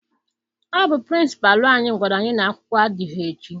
Ọ bụ Pịrịnsịpalụ anyị gwara anyị na-akwụkwọ adịghị echi.